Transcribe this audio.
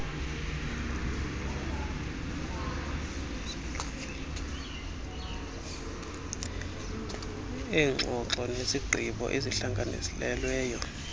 eengxoxo nezigqibo ezihlanganelweyo